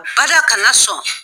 Bada kana na sɔn